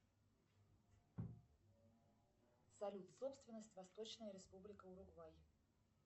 салют собственность восточная республика уругвай